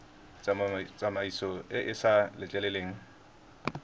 tsamaiso e e sa letleleleng